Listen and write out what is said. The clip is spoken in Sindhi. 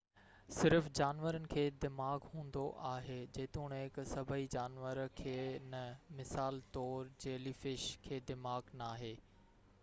صرف جانورن کي دماغ هوندو آهي جيتوڻڪ سڀئي جانور کي نہ؛ مثال طور جيلي فش، کي دماغ ناهي